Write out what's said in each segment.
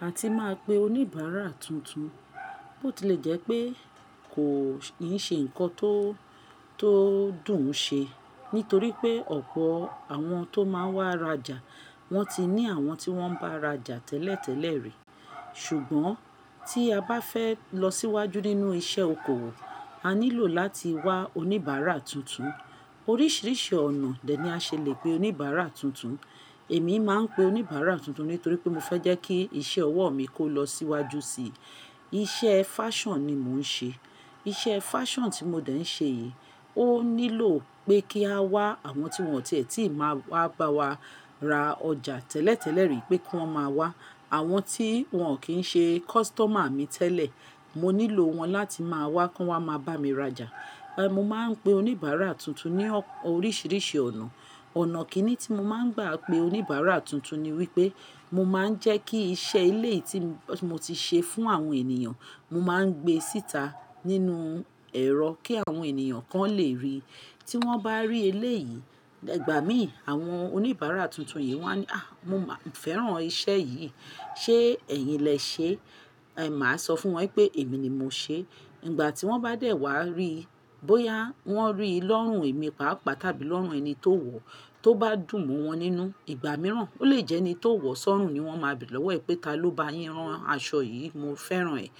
A ti máa pe oníbàárà tuntun. Ó ti lè jẹ́ pé kò ì ṣe ǹkan tó--to dùn ṣe, nítorí pé ọ̀pọ̀ àwọn tó máa wá rajà wọ́n ti ní àwọn tí wọ́n ń bá rajà tẹ́lẹ̀tẹ́lẹ̀ rí. Ṣùgbọ́n tí a bá fẹ́ lọ síwájú nínú iṣẹ́ okòwò, a nílò láti wá oníbàárà tuntun. Oríṣiríṣi ọ̀nà de ni a ṣèlérí pé oníbàárà tuntun. Èmi máa ń pe oníbàárà tuntun nítorí pé mo fẹ́ jẹ́ kí iṣẹ́ ọwọ́ mi kó lọ síwájú sí i. Iṣẹ́ fashion ni mò ń ṣe. Iṣẹ́ fashion tí mo dẹ̀ ń ṣe yìí ó nílò pé kí a wá àwọn tí wọn ò ti e ti máa wá bá wa ra ọjà tẹ́lẹ̀tẹ́lẹ̀ rí pé kí wọ́n máa wá. Àwọn tí wọn kì í ṣe customer mi tẹ́lẹ̀, mo nílò wọn láti máa wá kí wọ́n máa bá mi rajà. Mo máa ń pe oníbàárà tuntun ní oríṣiríṣi ọ̀nà. Ọ̀nà kinni tí mo máa ń gbà pé oníbàárà tuntun ni wípé mo máa ń jẹ́ kí iṣẹ́ ilé tí mo ti ṣe fún àwọn ènìyàn, mo máa ń gbé síta nínú ẹ̀rọ kí àwọn ènìyàn kan lè rí i. Tí wọ́n bá rí eleyìí, Igba mii, àwọn oníbàárà tuntun yìí wọ́n á ní "à, mo máa ń fẹ́ràn iṣẹ́ yìí, ṣe ẹ̀yin lẹ ṣe?" ẹ̀h, màá sọ fún wọn pé èmi ni mo ṣe. Nígbà tí wọ́n bá dẹ̀ wá rí i, bóyá wọ́n rí i lọ́rùn èmi pàápàá tàbí lọ́rùn ẹni tó wọ̀ tó bá dùn mọ́ wọn nínú, ìgbà mìíràn ó lè jẹ́ ẹni tó wọ̀ ó sorun ni wọ́n máa bi lọ́wọ́ ẹ̀ pé "taló bá yín rán aṣọ yìí? Mo fẹ́ràn ẹ̀."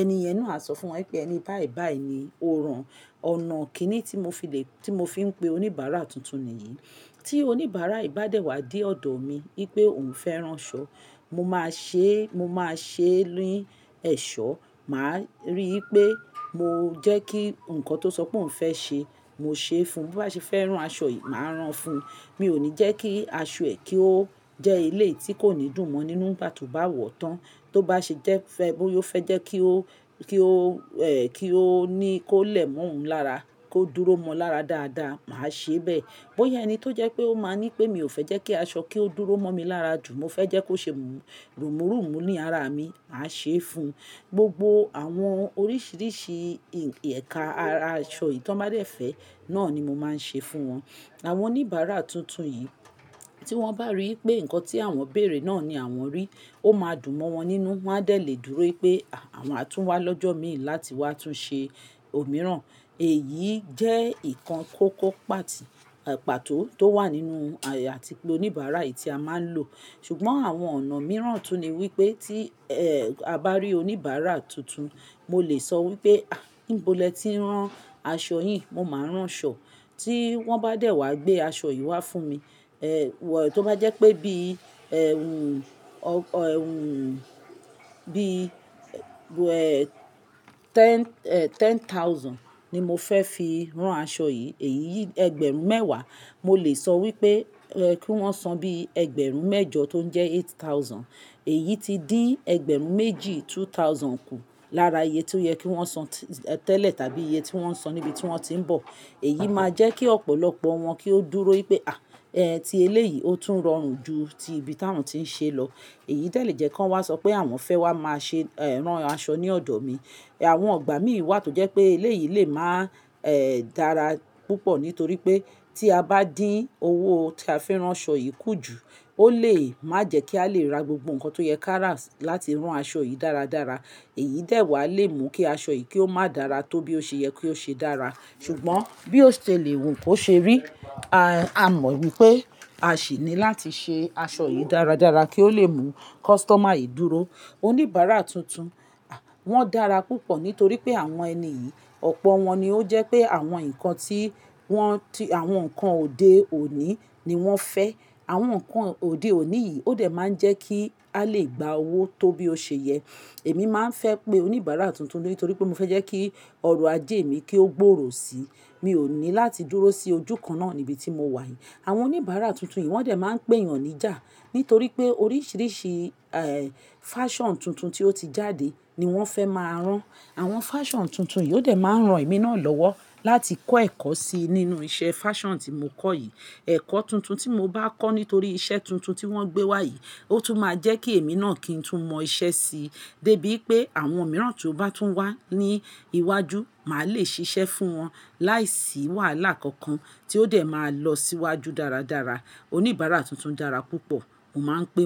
Ẹni yẹn náà sọ fún wọn pé "ẹni báì báì ni ó rán." Ọ̀nà kinni tí mo fi lè-- tí mo fi ń pe oníbàárà tuntun nìyí. Tí oníbàárà yii ba dẹ̀ wá dé ọ̀dọ̀ mi wípé òun fẹ́ rán aṣọ, mo máa ṣe, mo máa ṣe ni seo Màá rí i pé mo jẹ́ kí ǹkan tó sọ pé òun fẹ́ ṣe, mo ṣe fún un. Bí ó bá ṣe fẹ́ rán aṣọ yìí, màá rán fún un. Mi ò ní jẹ́ kí aṣọ ẹ kí ó jẹ́ ilé tí kò ní dùn mọ́ nínú ni igha to ba wọ̀ tán. Tó bá ṣe jẹ́ fẹ́, bóyá ó fẹ́ jẹ́ kí ó, kí ó, ẹ́ẹ́, kí ó ní kó lẹ̀ mọ́ òun lára, kó dúró mọ́ ọ lára dáadáa, màá ṣe bẹ́ẹ̀. Bóyá ẹni tó jẹ́ pé ó máa ní pé mi ò fẹ́ jẹ́ kí aṣọ kí ó dúró mọ́ mi lára jù, mo fẹ́ jẹ́ kó ṣe rumurumu ní ara mi, màá ṣe é fún. Gbogbo àwọn oríṣiríṣi ẹ̀ka ara aṣọ yìí tí wọ́n bá dẹ̀ fẹ́, náà ni mo máa ń ṣe fún wọn. Àwọn oníbàárà tuntun yìí tí wọ́n bá rí i pé ǹkan tí àwọn bèèrè náà ni àwọn rí, ó máa dùn mọ́ wọn nínú, wọ́n á dẹ̀ lè dúró pé "à, àwa máa tún wá lọ́jọ́ mìí láti wá tún ṣe òmíràn." Èyí jẹ́ nǹkan kòkó pat--pàtó tó wà nínú àti pé oníbàárà yìí tí a máa ń lò. Ṣùgbọ́n àwọn ọ̀nà mìíràn tún ní wípé tí, ẹ́ẹ́, a bá rí oníbàárà tuntun, mo lè sọ wípé "à, nibo ni e tí n rán aṣọ yìí, mo máa rán ṣọ." Tí wọ́n bá dẹ̀ wá gbé aṣọ yìí wá fún mi, ẹ́ẹ́, tó bá jẹ́ pé bí, ẹ́ẹ́, ohùn, bí, ẹ́ẹ́, ten ---ten thousand ni mo fẹ́ fi rán aṣọ yìí, èyí ẹgbẹ̀rún mẹ́wàá, mo lè sọ wípé kí wọ́n san bí ẹgbẹ̀rún mẹ́jọ tó ń jẹ́ eight thousand. Èyí ti dín ẹgbẹ̀rún méjì, two thousand, kù lára iye tí ó yẹ kí wọ́n san tẹ́lẹ̀ tàbí iye tí wọ́n san níbi tí wọ́n ti ń bọ̀. Èyí máa jẹ́ kí ọ̀pọ̀lọpọ̀ wọn kí ó dúró wípé "à, ẹ́ ẹ́ tí ilé yìí ó tún rọrùn ju tí ibi tí àwọn tí ń ṣe lọ." Èyí dẹ̀ lè jẹ́ kí wọ́n wá sọ pé àwọn fẹ́ wá máa ṣe rán aṣọ ní ọ̀dọ̀ mi. Àwọn ọ̀gbà mìíràn sì wá tó jẹ́ pé ilé yìí lè máa, ẹ́ẹ́, dára púpọ̀ nítorí pé tí a bá dín owó tí a fẹ́ rán aṣọ yìí kù jù, ó lè má jẹ́ kí a lè ra gbogbo ǹkan tó yẹ kárà láti rán aṣọ yìí dáradára. Èyí dẹ̀ wá lè mú kí aṣọ yìí kí ó má dàra tó bí ó ṣe yẹ kí ó ṣe dára. Ṣùgbọ́n bí ó ṣe lè wù kó ṣe rí, a mọ̀ wípé a sì ní láti ṣe aṣọ yìí dáradára kí ó lè mú customer yìí dúró. Oníbàárà tuntun, wọ́n dára púpọ̀ nítorí pé àwọn ẹni yìí, ọ̀pọ̀ wọn ni ó jẹ́ pé àwọn ǹkan tí wọ́n ti-- àwọn ǹkan òde òní ni wọ́n fẹ́. Àwọn ǹkan òde òní yìí ó dẹ̀ máa ń jẹ́ kí a lè gba owó tó bí ó ṣe yẹ. Èmi máa ń fẹ́ pé oníbàárà tuntun nítorí pé mo fẹ́ jẹ́ kí ọrọ̀ ajé mi kí ó gbòòrò síi. Mi ò ní láti dúró sí ojú kan náà níbi tí mo wà yìí. Àwọn oníbàárà tuntun yìí wọ́n dẹ̀ máa ń pèèyàn níjà nítorí pé oríṣiríṣi, ẹ́ẹ́, fashion tuntun tí ó ti jáde ni wọ́n fẹ́ máa rán. Àwọn fashion tuntun yìí ó dẹ̀ máa ń ran èmi náà lọ́wọ́ láti kọ́ ẹ̀kọ́ síi nínú iṣẹ́ fashion tí mo kọ́ yìí. Ẹ̀kọ́ tuntun tí mo bá kọ́ nítorí iṣẹ́ tuntun tí wọ́n gbé wá yìí ó tún máa jẹ́ kí èmi náà kí n tún mọ iṣẹ́ sí. Débí wipé àwọn mìíràn tó bá tún wá ní iwájú, màá lè ṣiṣẹ́ fún wọn láìsí wàhálà kankan tí ó dẹ̀ máa lọ síwájú dáradára. Oníbàárà tuntun dára púpọ̀, mo máa ń pè won.